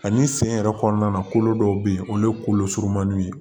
Ani sen yɛrɛ kɔnɔna na kolo dɔw bɛ yen olu ye kolo surumanninw ye